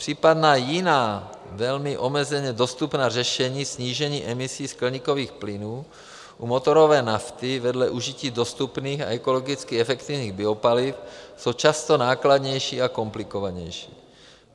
Případná jiná, velmi omezeně dostupná řešení snížení emisí skleníkových plynů u motorové nafty vedle užití dostupných a ekologicky efektivních biopaliv jsou často nákladnější a komplikovanější.